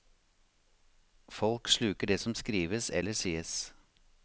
Folk sluker det som skrives eller sies.